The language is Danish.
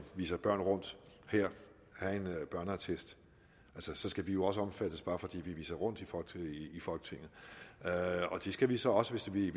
viser børn rundt her have børneattest så skal vi jo også omfattes bare fordi vi viser rundt i folketinget det skal vi så også hvis vi